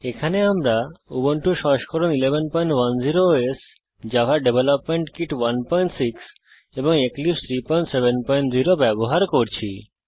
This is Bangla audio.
এখানে আমরা উবুন্টু সংস্করণ 1110 ওএস জাভা ডেভেলপমেন্ট কিট 16 এবং এক্লিপসে 370 ব্যবহার করছি